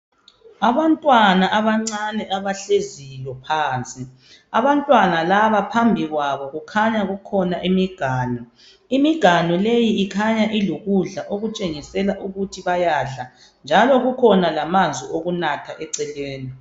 Abantwana abancane abahleziyo phansi. Abantwana laba phambi kwabo kukhanya kukhona imiganu . Imgiganu leyi ikhanya ilokudla okutshengisela ukuthi bayadla njalo kukhona lamanzi okunatha eceleni .